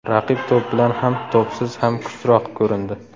Raqib to‘p bilan ham, to‘psiz ham kuchliroq ko‘rindi.